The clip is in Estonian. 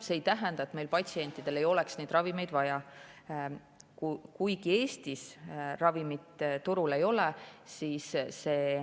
See ei tähenda, et meie patsientidel ei ole neid ravimeid vaja, kuigi Eestis neid turul ei ole.